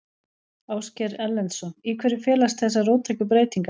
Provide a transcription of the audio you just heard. Ásgeir Erlendsson: Í hverju felast þessar róttæku breytingar?